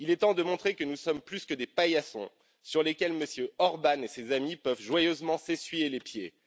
Il est temps de montrer que nous sommes plus que des paillassons sur lesquels M. Orbán et ses amis peuvent joyeusement s'essuyer les pieds.